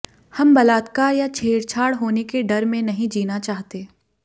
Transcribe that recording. हम बलात्कार या छेड़छाड़ होने के डर में नहीं जीना चाहते